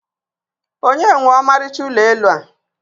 onye nwe ọmarịcha ụlọ elu a?